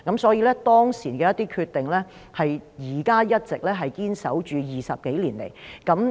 所以，當時的一些決定 ，20 多年來一直堅守至今。